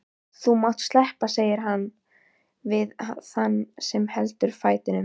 Þú mátt sleppa, segir hann við þann sem heldur fætinum.